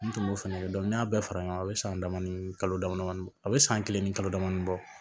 N tun b'o fɛnɛ kɛ n'i y'a bɛɛ fara ɲɔgɔn kan a bɛ san dama ni kalo dama damani bɔ a bɛ san kelen ni kalo damadɔni bɔ